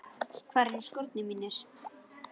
Hvar eru skórnir mínir?